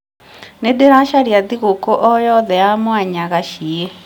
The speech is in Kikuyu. nĩ ndĩracaria thigũkũ o yothe ya mwanya gacie